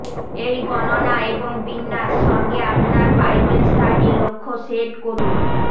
এই গণনা এবং বিন্যাস সঙ্গে আপনার বাইবেল স্টাডি লক্ষ্য সেট করুন